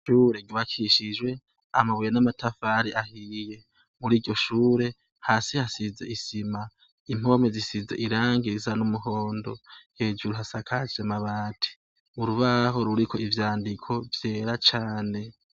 Ishure ry'ubakishijwe amabuye n'amatafari ahiye. Muri iryo shure, hasi hasize isima, impome zisize irangi risa n'umuhondo, hejuru hasakajwe n'amabati, urubaho ruriko vyandiko vyera cane.